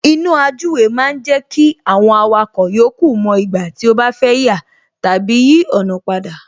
Iná àjúwe ma ń jẹ́ kí àwọn awakọ̀ yòókù mo ìgbà tí ó bá fẹ́ yà tàbí yí ọ̀nà padà